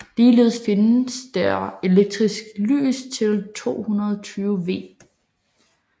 Ligeledes findes der Elektrisk Lys til 220 V